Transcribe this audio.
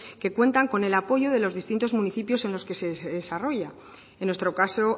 que cuentan con el apoyo de los distintos municipios en los que se desarrolla en nuestro caso